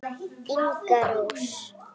Inga Rós.